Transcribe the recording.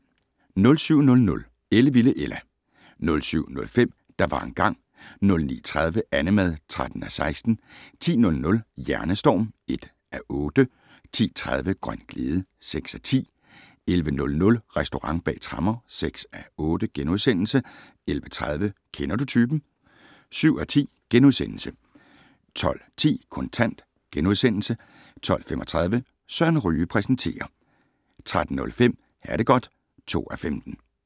07:00: Ellevilde Ella 07:05: Der var engang ... 09:30: Annemad (13:16) 10:00: Hjernestorm (1:8) 10:30: Grøn glæde (6:10) 11:00: Restaurant bag tremmer (6:8)* 11:30: Kender du typen? (7:10)* 12:10: Kontant * 12:35: Søren Ryge præsenterer 13:05: Ha det godt (2:15)